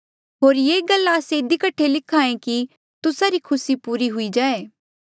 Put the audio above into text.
होर ये गल्ला आस्से इधी कठे लिख्हा ऐें कि तुस्सा री खुसी पूरी हुई जाए